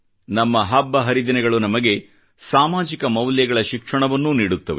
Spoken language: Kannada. ನಮ್ಮ ಹಬ್ಬ ಹರಿದಿನಗಳು ನಮಗೆ ಸಾಮಾಜಿಕ ಮೌಲ್ಯಗಳ ಶಿಕ್ಷಣವನ್ನೂ ನೀಡುತ್ತವೆ